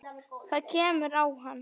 Það kemur á hann.